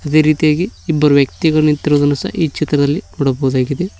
ಇದೇ ರೀತಿಯಾಗಿ ಇಬ್ಬರ್ ವ್ಯಕ್ತಿಗಳು ನಿಂತಿರುವುದನ್ನು ಸಹ ಈ ಚಿತ್ರದಲ್ಲಿ ನೋಡಬಹುದಾಗಿದೆ.